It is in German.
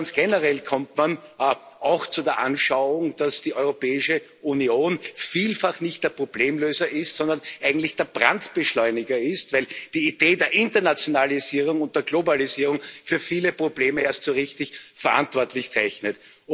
Ganz generell kommt man auch zu der Anschauung, dass die Europäische Union vielfach nicht der Problemlöser ist, sondern eigentlich der Brandbeschleuniger, weil die Idee der Internationalisierung und der Globalisierung für viele Probleme erst so richtig verantwortlich zeichnet.